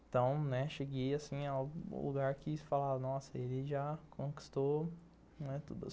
Então, né, cheguei, assim, ao lugar que, fala, nossa, ele já conquistou, né, tudo.